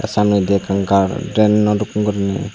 samne indi ekkan garden no dokke gurine.